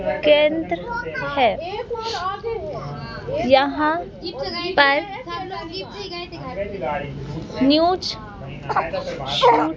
केंद्र है यहां पर न्यूज़ --